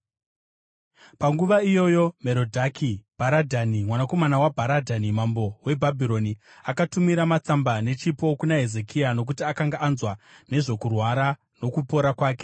Panguva iyoyo Merodhaki-Bharadhani mwanakomana waBharadhani mambo weBhabhironi, akatumira matsamba nechipo kuna Hezekia, nokuti akanga anzwa nezvokurwara nokupora kwake.